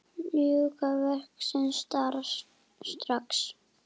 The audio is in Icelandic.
Ljúka verkinu strax!